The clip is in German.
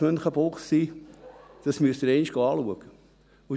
Das HSM müssen Sie sich einmal anschauen.